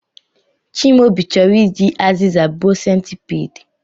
Chimaobi choro iji aziza gbuo centipede